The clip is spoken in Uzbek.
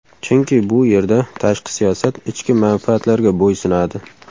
Chunki bu yerda tashqi siyosat ichki manfaatlarga bo‘ysunadi.